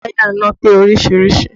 Wáyà iná pé oríṣiríṣìí